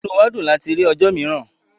Ìnú wa dùn láti rí ọ̀jọ́ miìràn